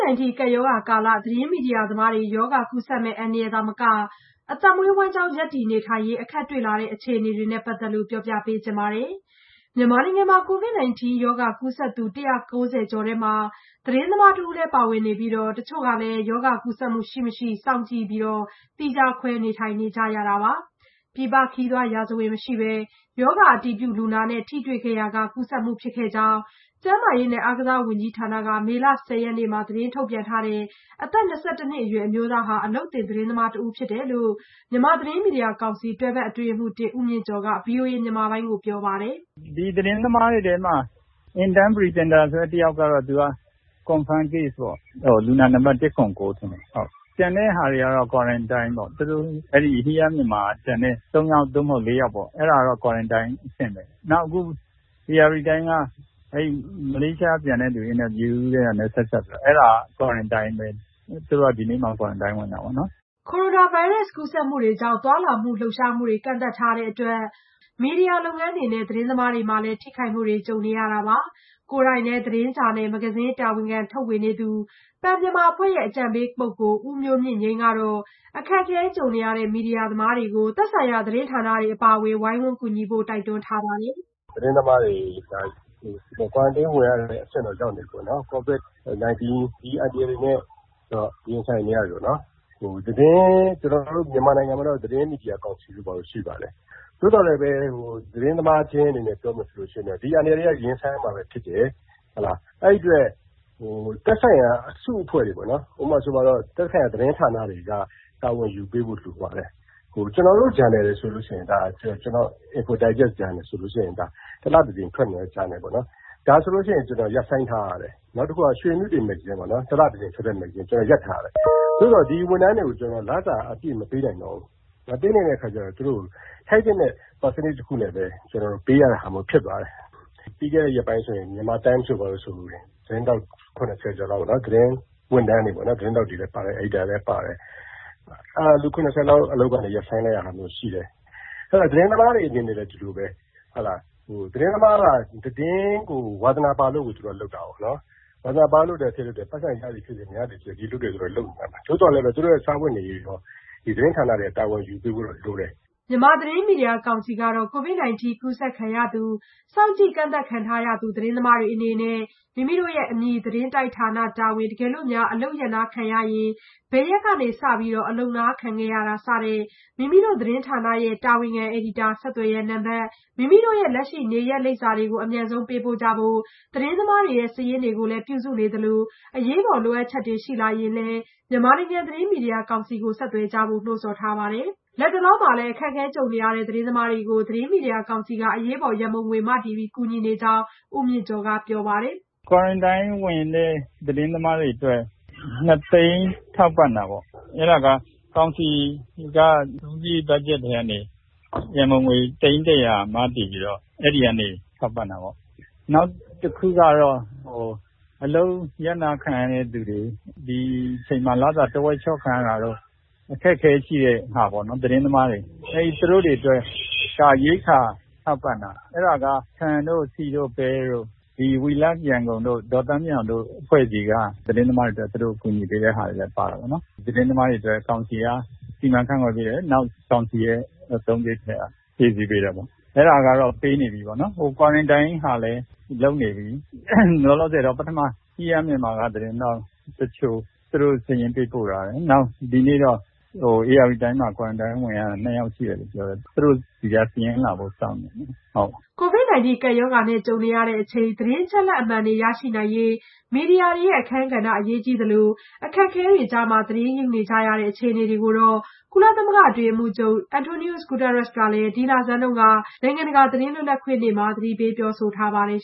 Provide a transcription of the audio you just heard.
-19 ကပ်ရောဂါကာလ သတင်းမီဒီယာသမားတွေ ရောဂါကူးစက်မယ့် အန္တရာယ်သာမက အသက်မွေးဝမ်းကျောင်း ရပ်တည်နေထိုင်ရေး အခက်တွေ့လာနေတဲ့ အခြေအနေနဲ့ ပတ်သက်လို့ မဆုမွန် ပြောပြမှာပါ။ မြန်မာနိုင်ငံမှာ COVID-19 ရောဂါကူးစက်သူ ၁၉၀ ကျော်ထဲမှာ သတင်းသမားတဦးလည်း ပါဝင်နေပြီး တချို့ဟာလည်း ရောဂါကူးစက်မှု ရှိမရှိ စောင့်ကြည့်ပြီး သီးခြားခွဲ နေထိုင်နေကြရတာပါ။ ပြည်ပခရီးသွားရာဇဝင် မရှိပေမဲ့ ရောဂါအတည်ပြုလူနာနဲ့ ထိတွေ့ခဲ့ရာက ကူးစက်မှု ဖြစ်ခဲ့ကြောင်း ကျန်းမာရေးနဲ့ အားကစားဝန်ကြီးဌာနက မေလ ၁၀ ရက်နေ့မှာ သတင်းထုတ်ပြန်ထားတဲ့ အသက် ၂၁ နှစ်အရွယ် အမျိုးသားဟာ အလုပ်သင်သတင်းသမားတဦး ဖြစ်ကြောင်း မြန်မာနိုင်ငံ သတင်းမီဒီယာကောင်စီ တွဲဘက်အတွင်းရေးမှူး ဦးမြင့်ကျော်က ဗွီအိုအေမြန်မာပိုင်းကို ပြောပါတယ်။ “ဒီသတင်းသမားတွေထဲမှာ Intern Presenter တယောက်ကတော့Confirm Case ပေါ့ လူနာနံပတ် ၁၇၉ပါ။ ကျန်တဲ့ သတင်းသမားတွေကတော့ Quarantine ပေါ့ Hear Myanmar က ကျန်တဲ့ သတင်းသမား ၃ယောက် သို့မဟုတ် ၄ယောက်ပေါ့။ အဲ့တာက Quarantine အဆင့်ပဲ နောက် အခု ဧရာဝတီတိုင်းက မလေးရှားကပြန်လာတဲ့သူတွေကို အင်တာဗျူးတာနဲ့ဆက်စပ်ပြီး အဲ့တာလည်း Quarantine ပဲ။ သူတို့က ဒီနေ့စ Quarantine ဝင်ရတယ်။” ကိုရိုနာဗိုင်းရပ်စ် ကူးစက်မှုတွေကြောင့် သွားလာလှုပ်ရှားမှုတွေ ကန့်သတ်ထားတဲ့အတွက် မီဒီယာ လုပ်ငန်းတွေနဲ့ သတင်းသမားတွေမှာလည်း ထိခိုက်မှုတွေ ကြုံနေရတာပါ။ ကိုယ်တိုင်လည်း သတင်းဂျာနယ် မဂ္ဂဇင်းတာဝန်ခံထုတ်ဝေနေသူ Pen Myanmar အဖွဲ့ရဲ့ အကြံပေးပုဂ္ဂိုလ် ဦးမျိုးမြင့်ငြိမ်းကတော့ ဲ အခက်အခဲကြုံနေရတဲ့ မီဒီယာသမားတွေကို သက်ဆိုင်ရာ သတင်းဌာနတွေ အပါအဝင် ဝိုင်းဝန်းကူညီဖို့ တိုက်တွန်းထားပါတယ်။ “ သတင်းသမားတွေ Quarantine ဝင်ရတဲ့အဆင့်ကို ရောက်နေပြီပေါ့နော် ။ကိုဗစ်၁၉ ဒီလိုအန္တရာယ်တွေနဲ့ ရင်ဆိုင်နေရပြီ ။ ကျနော်တို့ မြန်မာနိုင်ငံမှာတော့ မြန်မာနိုင်ငံသတင်းမီဒီယာကောင်စီတို့ ဘာတို့တော့ရှိပါတယ်။ သို့သော်လည်းပဲ ကျနော်တို့ သတင်းသမားချင်းအနေနဲ့ ပြောရမယ်ဆိုရင် ဒီလိုအန္တရာယ်တွေကတော့ ရင်ဆိုင်ရမှာပဲဖြစ်တယ်။ အဲ့ဒီ့အတွက် သက်ဆိုင်ရာ အစုအဖွဲ့တွေက သက်ဆိုင်ရာ သတင်းအဖွဲ့တွေပေါ့နော် သတင်းဌာနတွေသတင်းတိုက်တွေက တာဝန်ယူပေးဖို့လိုတယ်။ ကျနော်တို့ဂျာနယ်တွေဆိုရင် ကျနော့်ရဲ့Info Digest ဆိုရင် တလတကြိမ် ထွက်နေတဲ့ဂျာနယ်ပေါ့နော် ဒါဆိုရင် ကျနော် ရပ်ဆိုင်းထားရတယ် နောက် ရွှေအမြုတေမဂ္ဂဇင်းပေါ့နော် တလ တကြိမ်ထွက်တာ ဒါလည်း ရပ်ဆိုင်းထားရတယ်။ သို့သော် ကျနော် ဒီဝန်ထမ်းတွေကို လစာအပြည့်မပေးနိုင်တော့ဘူး။ အဲ့အတွက် ထိုက်သင့်တဲ့ ရာခိုင်နှုန်းနဲ့ ပေးရတဲ့အနေအထားမျိုးဖြစ်သွားတယ်။ ပြီးခဲ့တဲ့ရက်ပိုင်းဆို မြန်မာတိုင်းမ်က သတင်းဝန်ထမ်းတွေပေါ့နော် သတင်းသမားတွေရော အယ်ဒီတာတွေရော လူ ၇၀လောက် ရပ်ဆိုင်း ခံလိုက်ရတယ်။ ဒါတွေကလည်း ရင်ဆိုင်ရမယ့်အနေအထားပဲလေ။သတင်းသမားကတော့ သတင်းရယူဖို့ ဝါသနာပါလို့ကို သူတို့က လုပ်တာကိုး။ ပိုက်ဆံရသည်ဖြစ်စေ မရသည်ဖြစ်စေ သတင်းအလုပ်ကိုတော့ လုပ်ကြမှာပဲ သို့သော်လည်းပဲ သူတို့ရဲ့စားဝတ်နေရေးကို သတင်းဌာနတွေဘက်ကလည်း တာဝန်ယူပေးဖို့လိုတယ်။” မြန်မာနိုင်ငံသတင်းမီဒီယာကောင်စီကတော့ COVID-19 ကူးစက်ခံရသူ စောင့်ကြည့်ကန့်သတ် ခံထားရသူ သတင်းသမားတွေအနေနဲ့အမည် သတင်းတိုက်ဌာန တာဝန်၊ တကယ်လို့ အလုပ်ရပ်နားခံရရင် ဘယ်ရက်က စ အလုပ်နားခံရတာ မိမိတို့သတင်းဌာနရဲ့ တာဝန်ခံ အယ်ဒီတာ ဆက်သွယ်ရန်နံပတ် မိမိတို့ရဲ့ လက်ရှိနေရပ်လိပ်စာတွေကို အမြန်ဆုံးပေးပို့ကြဖို့ သတင်းသမားတွေရဲ့ စာရင်းတွေကို ပြုစုနေသလို အရေးပေါ်လိုအပ်ချက်တွေရှိလာရင်လည်း မြန်မာနိုင်ငံ သတင်းမီဒီယာကောင်စီကို ဆက်သွယ်ကြဖို့ နိုးဆော်ထားပါတယ်။ လတ်တလောမှာလည်း အခက်အခဲကြုံနေရတဲ့ သတင်းသမားတွေကိုတော့ သတင်းမီဒီယာကောင်စီက အရေးပေါ် ရံပုံငွေ မတည်ပြီး ကူညီနေကြောင်း ဦးမြင့်ကျော်က ပြောပါတယ်။ “ အခု Quarantine ဝင်ရတဲ့သတင်းသမားတွေကို ၂သိန်းထောက်ပံ့တယ်။ အဲ့တာက ကောင်စီက အသုံးစားရိတ် ဘတ်ဂျက်ထဲကနေ အရေးပေါ်ရံပုံငွေ သိန်း ၁၀၀ မတည်ပြီး အဲ့ဒီ့ကနေ ထောက်ပံ့တာပေါ့။ နောက်တခုကတော့ အလုပ်ရပ်နားခံရသူတွေ ဒီကိုဗစ်ကာလမှာ လစာထက်ဝက်လျှော့ခံရတာတို့ အခက်အခဲရှိတဲ့သတင်းသမားတွေပေါ့ သူတို့တွေအတွက်ကတော့ ရိက္ခာထောက်ပံ့တာ။ ဆန် ဆီ ပဲပေါ့ တချို့ရိက္ခာတွေက ဒေါ်သန်းမြင့်အောင်တို့ အဖွဲ့အစည်းက We Love Yangon လိုအဖွဲ့အစည်းက သတင်းသမားတွေအတွက် သူတို့ကူညီပေးကြတယ်။ အဲ့တာကို ကောင်စီကနေ စီမံခန့်ခွဲပေးတယ် နောက် ကောင်စီရဲ့အသုံးစားရိတ်ထဲက ဖြည့်ဆည်းပေးတယ်။ အဲ့တာကတော့ ပေးနေ ပြီပေါ့နော် နောက်Quarantine ဝင်တဲ့သူတွေအတွက်လည်း စီစဉ်ပေးနေပြီပေါ့နော် လောလောဆယ်တော့Hear Myanmarက သတင်းသမားတွေက စာရင်းသတင်းပေးပို့ထားတယ် ဒီနေ့အတွက်ကတော့ ဧရာဝတီတိုင်းကသတင်းသမားတွေ Quarantine ဝင်ရတာကို ၂ယောက်ရှိတယ်လို့ပြောပါတယ်။ သူတို့သတင်း ပေးပို့တာကို စောင့်နေပါတယ်။” COVID-19 ကပ်ရောဂါနဲ့ ကြုံနေရချိန် သတင်းအချက်အလက်မှန်တွေ ရရှိနိုင်ရေး မီဒီယာတွေရဲ့ အခန်းကဏ္ဍ အရေးကြီးသလို၊ အခက်အခဲကြားက သတင်းယူနေကြရတဲ့ အခြေအနေတွေကိုတော့ ကုလသမဂ္ဂ အတွင်းရေးမှူးချုပ် António Guterres ကလည်း ဒီလဆန်းတုန်းက နိုင်ငံတကာ သတင်းလွတ်လပ်ခွင့်နေ့မှာ ပြောဆိုထားပါတယ်